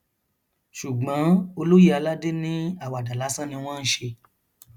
ṣùgbọn olóye aládé ní àwàdà lásán ni wọn ń ṣe